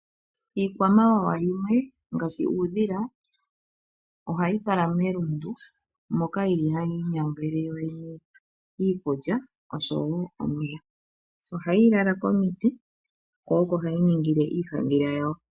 Iikwamawawa yimwe ngaashi uudhila ohayi kala melundu moka hayi inyangele yoyene iikulya oshowo omeya. Ohayi lala komiti ko oko hayi ningile iihandhila yawo.